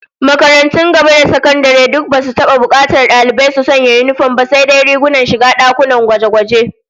Makarantun gaba da sakandare duk basu taba bukatar dalibai su sanya yinifom ba, sai. dai rigunan shiga dakunan gwaje-gwaje